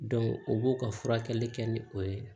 o b'o ka furakɛli kɛ ni o ye